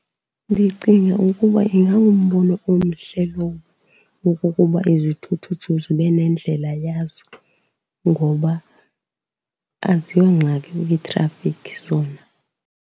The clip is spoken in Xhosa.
Ndicinga ukuba ingangumbono omhle lowo wokokuba izithuthuthu zibe nendlela yazo, ngoba aziyongxaki kwitrafikhi zona.